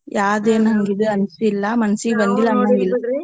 ಯಾದ್ ಏನ್ ಹಂಗ್ ಇದು ಅನ್ಸಿಲ್ಲಾ ಮನ್ಸಿಗ್ ಬಂದಿಲ್ಲ್ ಅನಂಗಿಲ್ಲಾ.